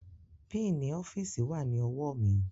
Pínǹì ọ́fíìsì wà ní ọwọ́ mi